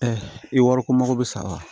i wariko mago bɛ sa wa